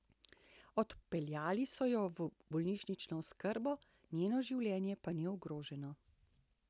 Odpeljali so jo v bolnišnično oskrbo, njeno življenje pa ni ogroženo.